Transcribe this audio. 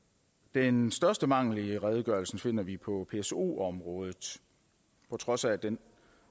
den største mangel i redegørelsen finder vi på pso området på trods af at den